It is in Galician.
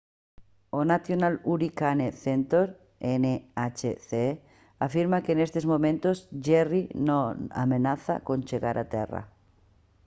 o national hurricane center nhc afirma que nestes momentos jerry non ameaza con chegar a terra